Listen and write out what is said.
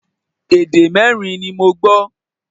Èdè mẹ́rin ni mo gbọ́